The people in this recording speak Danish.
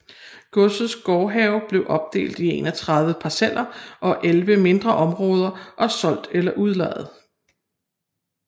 Godsets gårdhave blev opdelt i 31 parceller og elleve mindre områder og solgt eller udlejet